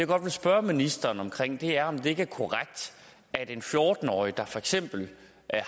godt vil spørge ministeren om er om det ikke er korrekt at en fjorten årig der for eksempel